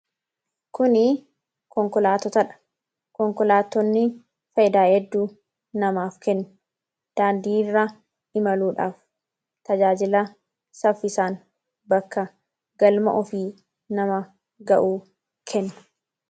Kuni konkolaatotaadha. Konkolaatonni fayidaa hedduu namaaf kenna. Daandii irra imaluudhaaf tajaajila saffisaan bakka galma ofii nama ga'uu kenna.